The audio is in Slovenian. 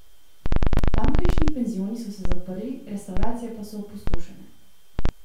Tamkajšnji penzioni so se zaprli, restavracije pa so opustošene.